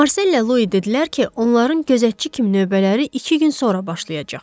Marsellə Lui dedilər ki, onların gözətçi kimi növbələri iki gün sonra başlayacaq.